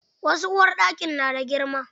Wasu uwarɗakin na da girma.